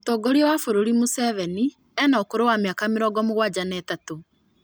Mũtongoria wa bũrũri Museveni ena ũkũrũ wa mĩaka mĩrongo mũgwanja na ĩtatũ